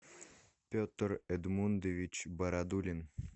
петр эдмундович бородулин